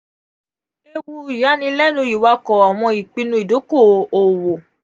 iluku iyailẹnu iwakọ awọn ipinnu idoko-owo.